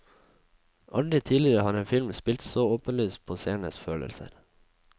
Aldri tidligere har en film spilt så åpenlyst på seernes følelser.